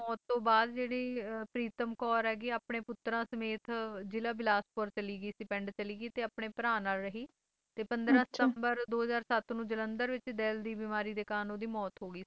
ਤੇ ਉਨ੍ਹਾਂ ਦੀ ਮੌਤ ਤੋਂ ਬਾਅਦ ਜਿਹੜੀ ਪ੍ਰੀਤਮ ਕੌਰ ਹੈਗੀ ਹੈ ਆਪਣੇ ਪੁੱਤਰਾਂ ਸਮੇਤ ਜਿਲਾ ਬਿਲਾਸਪੁਰ ਚਲੀ ਗਈ ਸੀ ਪਿੰਡ ਚਲੀ ਗਈ ਤੇ ਆਪਣੇ ਭਰਾ ਨਾਲ ਰਹੀ ਤੇ ਪੰਦਰਾਂ ਸਤੰਬਰ ਦੋ ਹਜ਼ਾਰ ਸੱਤ ਨੂੰ ਜਲੰਧਰ ਵਿੱਚ ਦਿਲ ਦੀ ਬਿਮਾਰੀ ਦੇ ਕਾਰਨ ਓਹਦੀ ਮੌਤ ਹੋ ਗਈ ਸੀਗੀ